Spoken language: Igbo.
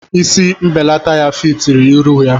Isi mbelata ya fitiri ihu ya.